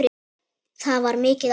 Það var mikið áfall.